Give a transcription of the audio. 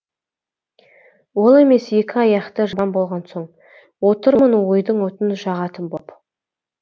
ол емес екі аяқты жан болған соң отырмын ойдың отын жағатын боп